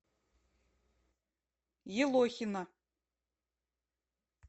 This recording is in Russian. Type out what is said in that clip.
елохина